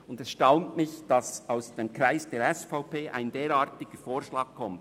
Mich erstaunt, dass aus den Kreisen der SVP ein derartiger Vorschlag kommt.